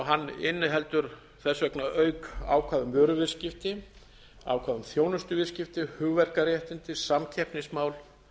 hann inniheldur þess vegna auk ákvæða um vöruviðskipti ákvæði um þjónustuviðskipti hugverkaréttindi samkeppnismál